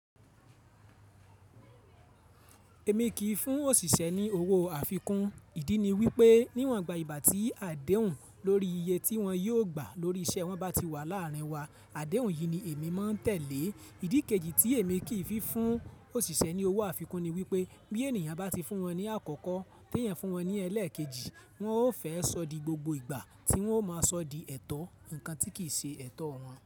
Èmi kì í fún òṣìṣẹ́ ní owó àfikún. Ìdí ni wípé níwọ̀n gba ìgbà tí àdéhùn lórí iye tí wón yóò gbà lórí iṣẹ́ wọn bá ti wà láàárín wa, àdéhùn yìí ni èmi máa ń tẹ̀lé. Ìdí kejì tí èmi kì í fún òṣìṣẹ́ ní owó àfikún ni wípé bí ènìyàn bá ti fún wọn ní àkọ́kọ́, tí ìyẹn fún wọn ní ẹlẹ́ẹ̀kejì, wọn ó fẹ́ sọ di gbogbo ìgbà tí wọn ó máa sọ di ẹ̀tọ́ nǹkan tí kìí ṣe ẹ̀tọ́ wọn.